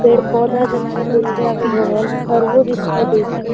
पेड़ पौधा दिखाई देइ थै अगल बगल घरवो दिखाई देइ थै |